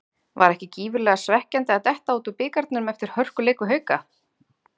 Var ekki gífurlega svekkjandi að detta út úr bikarnum eftir hörkuleik við Hauka?